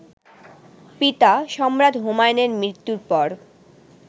পিতা, সম্রাট হুমায়ুনের মৃত্যুর পর